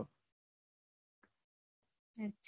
હમ